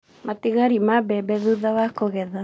Matigari ma mbembe thutha wa kũgetha.